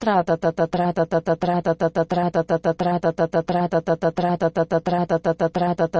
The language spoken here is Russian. тратата тратата тратата тратата тратата тратата тратата тратата тратата